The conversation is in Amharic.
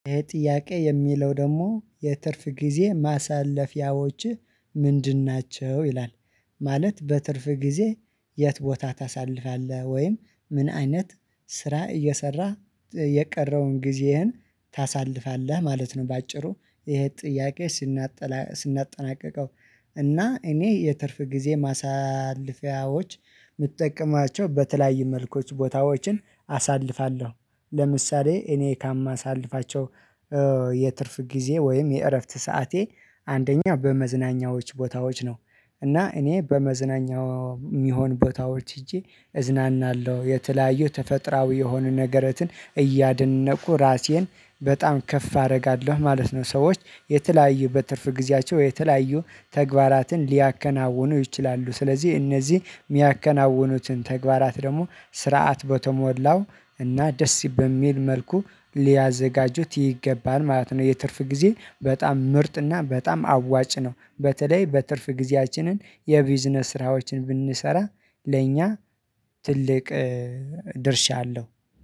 ይሄ ጥያቄ የሚለው ደግሞ የትርፍ ጊዜ ማሳለፊያዎችህ ምንድን ናቸው ይላል? ማለት በትርፍ ጊዜ የት ቦታ ታሳልፋለህ ወይም ምን አይነት ስራ እየሰራህ የቀረውን ጊዜህን ታሳልፋለህ ማለት ነው። በአጭሩ ይሄ ጥያቄ ስናጠናቅቀው። እና እኔ የትርፍ ጊዜ ማሳለፊያዎች የምጠቀማቸው በተለያዩ መልኮች ቦታዎችን አሳልፋለሁ። ለምሳሌ እኔ ካማሳልፋቸው የትርፍ ጊዜ ወይም የእረፍት ሰዓቴ አንደኛ በመዝናኛዎች ቦታዎች ነው። እና እኔ በመዝናኛው የሚሆን ቦታዎች ሄጄ እዝናናለሁ የተለያዩ ተፈጥራዊ የሆኑ ነገረቾን እያደነቁ ራሴን በጣም ከፍ አደርጋለሁ ማለት ነው። ሰዎች የተለያዩ በትርፍ ጊዜያቸው የተለያዩ ተግባራትን ሊያከናውኑ ይችላሉ። ስለዚህ እነዚህ የሚያከናውኑትን ተግባራት ደግሞ ስርዓት በተሞላው እና ደስ በሚል መልኩ ሊያዘጋጁት ይገባል ማለት ነው። የትርፍ ጊዜ በጣም ምርጥ እና በጣም አዋጭ ነው። በተለይ በትርፍ ጊዜያችንን የቢዝነስ ስራዎችን ብንሰራ ለእኛ ትልቅ ድርሻ አለው።